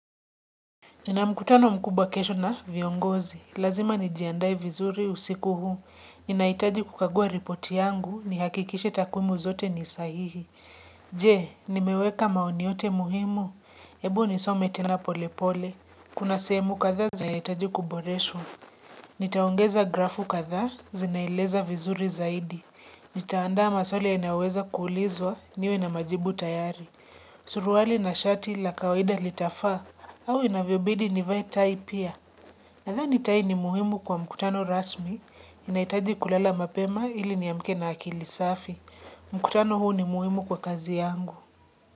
Nina mkutano mkubwa kesho na viongozi. Lazima nijiandae vizuri usiku huu. Ninaitaji kukagua ripoti yangu. Ni hakikishe takwimu zote ni sahihi. Je, nimeweka maoni yote muhimu. Ebu nisome tena pole pole. Kuna seemu katha zinaitaji kuboreshwa. Nitaongeza grafu kathaa zinaeleza vizuri zaidi. Nitaandaa maswali yanayoweza kuulizwa niwe na majibu tayari. Surwali na shati la kawaida litafa. Au inavyo bidi nivai tai pia. Nathani tai ni muhimu kwa mkutano rasmi inaitaji kulala mapema ili niamke na akili safi. Mkutano huu ni muhimu kwa kazi yangu.